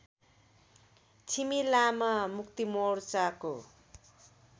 Chhimi Lama मुक्तिमोर्चाको